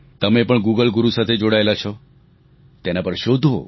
તમે પણ ગુગલ ગુરુ સાથે જોડાયેલા છો તેના પર શોધો